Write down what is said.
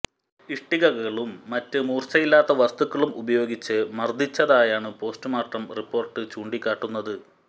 ഇഷ്ടികകളും മറ്റ് മൂർച്ചയില്ലാത്ത വസ്തുക്കളും ഉപയോഗിച്ച് മർദ്ദിച്ചതായാണ് പോസ്റ്റ്മോർട്ടം റിപ്പോർട്ട് ചൂണ്ടിക്കാട്ടുന്നത്